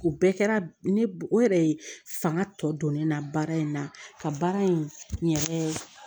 O bɛɛ kɛra ne o yɛrɛ ye fanga tɔ don ne na baara in na ka baara in n yɛrɛ